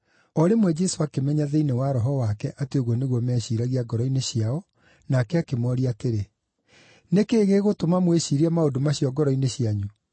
O rĩmwe Jesũ akĩmenya thĩinĩ wa roho wake atĩ ũguo nĩguo meciiragia ngoro-inĩ ciao, nake akĩmooria atĩrĩ, “Nĩ kĩĩ gĩgũtũma mwĩciirie maũndũ macio ngoro-inĩ cianyu?